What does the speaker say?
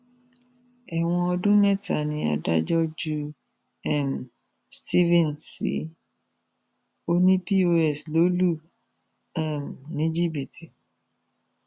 ẹwọn ọdún mẹta ni adájọ ju um stephen sí ọnì pọs lọ lù um ní jìbìtì